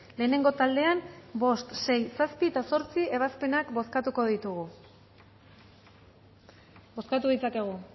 lehenengo taldean bost sei zazpi eta zortzi ebazpenak bozkatuko ditugu bozkatu ditzakegu